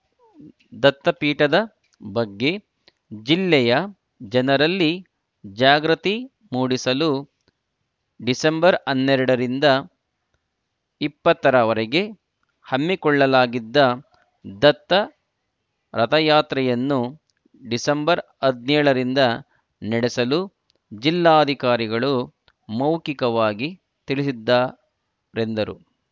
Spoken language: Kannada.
ದತ್ತಪೀಠದ ಬಗ್ಗೆ ಜಿಲ್ಲೆಯ ಜನರಲ್ಲಿ ಜಾಗೃತಿ ಮೂಡಿಸಲು ಡಿಸೆಂಬರ್ ಹನ್ನೆರಡರಿಂದ ಇಪ್ಪತ್ತರವರೆಗೆ ಹಮ್ಮಿಕೊಳ್ಳಲಾಗಿದ್ದ ದತ್ತ ರಥಯಾತ್ರೆಯನ್ನು ಡಿಸೆಂಬರ್ ಹದಿನೇಳರಿಂದ ನಡೆಸಲು ಜಿಲ್ಲಾಧಿಕಾರಿಗಳು ಮೌಖಿಕವಾಗಿ ತಿಳಿಸಿದ್ದಾರೆಂದರು